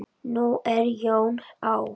Nú er Jón á